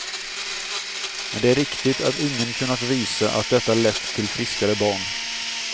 Men det är riktigt att ingen kunnat visa att detta lett till friskare barn.